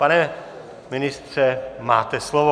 Pane ministře, máte slovo.